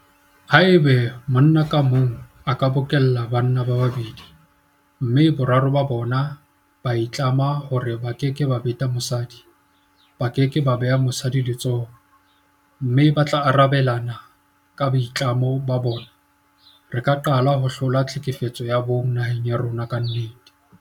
Haeba monna ka mong a ka bokella banna ba babedi mme boraro ba bona ba itlama hore ba keke ba beta mosadi, ba ke ke ba beha mosadi letsoho mme ba tla arabelana ka boitlamo bona, re ka qala ho hlola tlhekefetso ya bong naheng ya rona ka nnete.